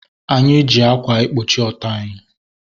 Anyị ji ákwà ekpuchi ọtọ anyị